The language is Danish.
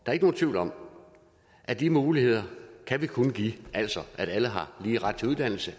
er ikke nogen tvivl om at de muligheder kan vi kun give altså at alle har lige ret til uddannelse